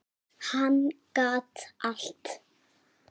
Hann gat allt.